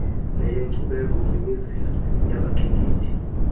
neyenkcubeko kwimizila yabakhenkethi